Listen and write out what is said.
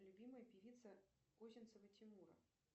любимая певица косинцева тимура